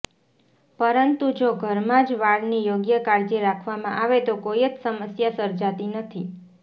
પરંતુ જો ઘરમાં જ વાળની યોગ્ય કાળજી રાખવામાં આવે તો કોઈ જ સમસ્યા સર્જાતી નથી